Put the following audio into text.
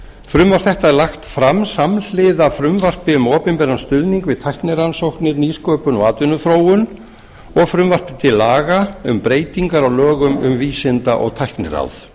frumvarp þetta er lagt fram samhliða frumvarpi um opinberan stuðning við tæknirannsóknir nýsköpun og atvinnuþróun og frumvarpi til laga um breytingar á lögum um vísinda og tækniráð